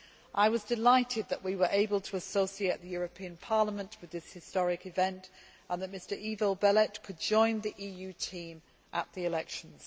I was delighted that we were able to associate the European Parliament with this historic event and that Mr Ivo Belet could join the EU team at the elections.